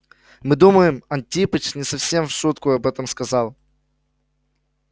мы думаем антипыч не совсем в шутку об этом сказал